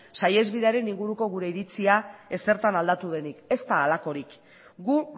saihesbidearen inguruko gure iritzia ezertan aldatu denik ez da halakorik gu